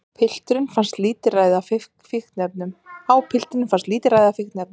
Á piltunum fannst lítilræði af fíkniefnum